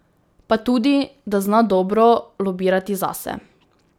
Pa tudi, da zna dobro lobirati zase.